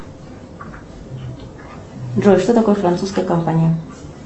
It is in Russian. джой что такое французская компания